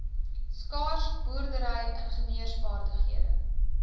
skaars boerdery ingenieursvaardighede